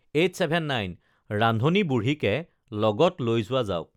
ৰান্ধনী বুঢ়ীকে লগত লৈ যোৱা যাওক